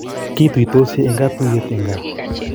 Kituitosii eng katuiyet eng kaa